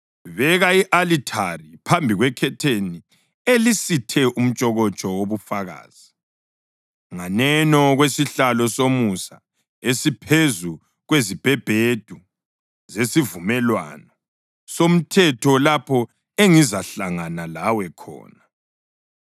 Beka i-alithari phambi kwekhetheni elisithe umtshokotsho wobufakazi, nganeno kwesihlalo somusa esiphezu kwezibhebhedu zesivumelwano somthetho lapho engizahlangana lawe khona.